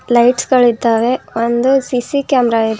Lights ಗಳಿದ್ದಾವೆ ಒಂದು CC camera ಇದೆ.